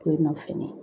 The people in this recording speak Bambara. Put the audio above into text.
Ko in nɔ fɛnɛ